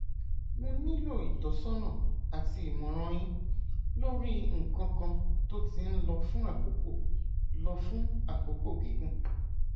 mo nílò ìtọsọnà àti ìmọràn yín lórí nǹkan kan tó ti ń lọ fún àkókò lọ fún àkókò gígùn